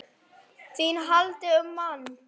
ÞÍN HALDI UM MANN!